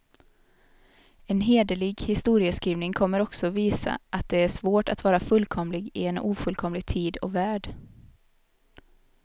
En hederlig historieskrivning kommer också visa, att det är svårt att vara fullkomlig i en ofullkomlig tid och värld.